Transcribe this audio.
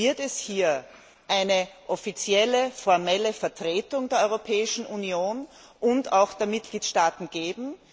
Wird es hier eine offizielle Vertretung der Europäischen Union und auch der Mitgliedstaaten geben?